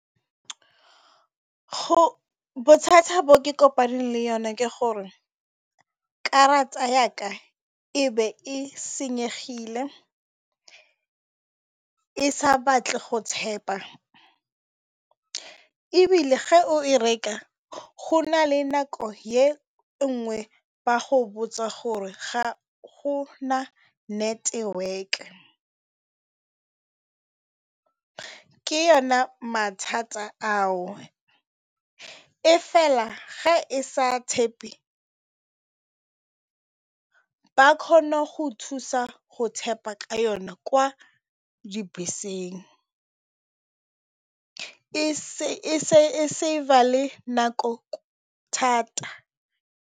Bothata bo ke kopaneng le bone ke gore karata ya ka e be e senyegile e sa batle go tap-a ebile ge o e reka go na le nako e nngwe ba go botsa gore ga go na network, ke yona mathata ao e fela ga e sa tap-e ba kgona go thusa go tap-a ka yona kwa dibeseng e save-a le nako thata.